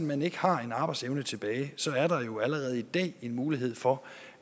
man ikke har en arbejdsevne tilbage så er der allerede i dag en mulighed for